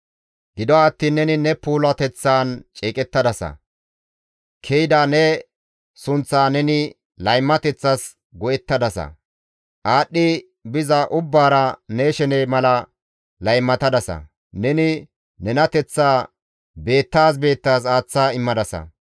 «Gido attiin neni ne puulateththaan ceeqettadasa; ke7ida ne sunththaa neni laymateththas go7ettadasa; aadhdhi biza ubbaara ne shene mala laymatadasa; neni nenateththaa beettaas beettaas aaththa immadasa.